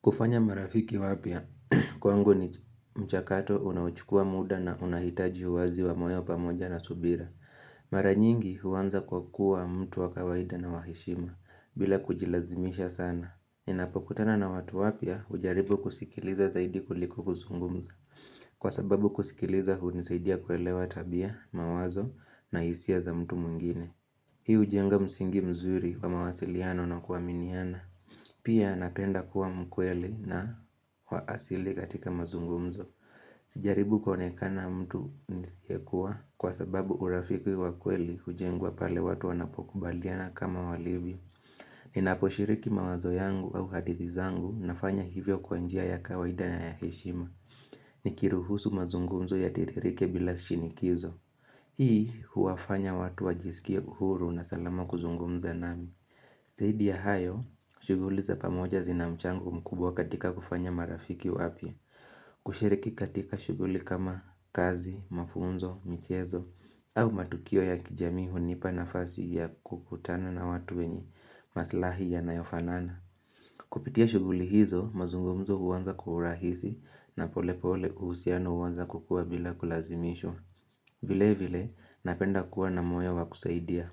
Kufanya marafiki wapya, kwangu ni mchakato unaochukua muda na unahitaji uwazi wa moyo pamoja na subira. Mara nyingi huanza kwa kuwa mtu wa kawaida na wa heshima, bila kujilazimisha sana. Ninapokutana na watu wapya, hujaribu kusikiliza zaidi kuliko kuzungumza. Kwa sababu kusikiliza hunisaidia kuelewa tabia, mawazo na hisia za mtu mwingine. Hii hujenga msingi mzuri wa mawasiliano na kuaminiana. Pia napenda kuwa mkweli na wa asili katika mazungumzo. Sijaribu konekana mtu nisiyekua kwa sababu urafiki wa kweli hujengwa pale watu wanapokubaliana kama walivyo. Ninaposhiriki mawazo yangu au hadithi zangu nafanya hivyo kwa njia ya kawaida na ya heshima. Nikiruhusu mazungumzo yatiririke bila shinikizo. Hii huwafanya watu wajisikie huru na salama kuzungumza nami. Zaidi ya hayo, shughuli za pamoja zinamchango mkubwa katika kufanya marafiki wapya, kushiriki katika shughuli kama kazi, mafunzo, michezo, au matukio ya kijamii hunipa nafasi ya kukutana na watu wenye maslahi yanayofanana. Kupitia shughuli hizo mazungumzo huanza kwa urahisi na pole pole uhusiano huanza kukua bila kulazimishwa vile vile napenda kuwa na moyo wa kusaidia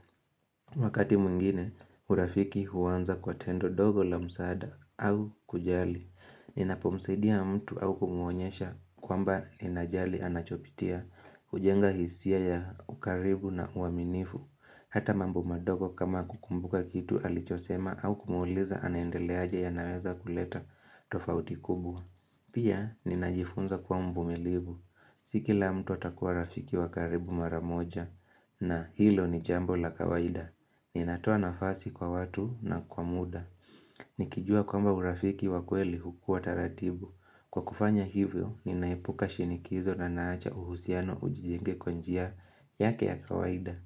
Wakati mwingine urafiki huanza kwa tendo dogo la msaada au kujali Ninapomsaidia mtu au kumwonyesha kwamba ninajali anachopitia hujenga hisia ya ukaribu na uaminifu Hata mambo madogo kama kukumbuka kitu alichosema au kumuuliza anaendeleaja yanaweza kuleta tofauti kubwa. Pia, ninajifunza kwa mvumilivu. Si kila mtu atakuwa rafiki wa karibu maramoja na hilo ni jambo la kawaida. Ninatoa nafasi kwa watu na kwa muda. Nikijua kwamba urafiki wa kweli hukuwa taratibu. Kwa kufanya hivyo, ninaepuka shinikizo na naacha uhusiano ujijenge kwa njia yake ya kawaida.